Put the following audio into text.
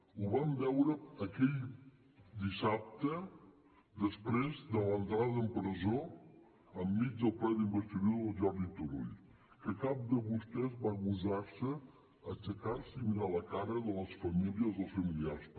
ho vam veure aquell dissabte després de l’entrada en presó enmig del ple d’investidura del jordi turull que cap de vostès va gosar aixecar se i mirar la cara de les famílies dels familiars